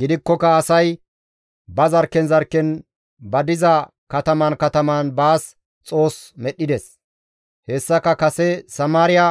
Gidikkoka asay ba zarkken zarkken ba diza kataman kataman baas xoos medhdhides; hessaka kase Samaariya